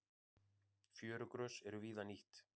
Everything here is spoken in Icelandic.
Fjörugrös eru víða nýtt.